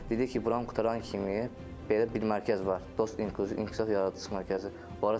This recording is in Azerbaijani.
Dedi ki, buranı qurtaran kimi belə bir mərkəz var, Dost İnkluziv İnkişaf Yaradıcılıq Mərkəzi.